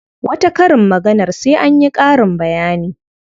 Wata karin maganar sai an yi ƙarin bayani.